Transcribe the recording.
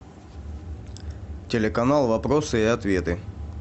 телеканал вопросы и ответы